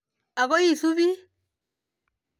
Akoi ii supon.